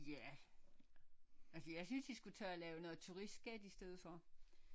Ja altså jeg synes de skulle tage at lave noget turistskat i stedet for